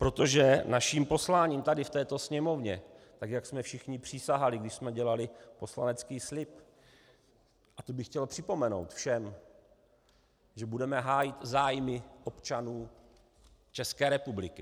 Protože naším posláním tady v této Sněmovně, tak jak jsme všichni přísahali, když jsme dělali poslanecký slib, a to bych chtěl připomenout všem, že budeme hájit zájmy občanů České republiky.